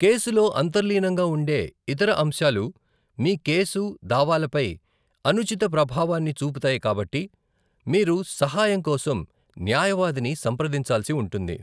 కేసులో అంతర్లీనంగా ఉండే ఇతర అంశాలు మీ కేసు, దావాలపై అనుచిత ప్రభావాన్ని చూపుతాయి కాబట్టి, మీరు సహాయం కోసం న్యాయవాదిని సంప్రదించాల్సి ఉంటుంది.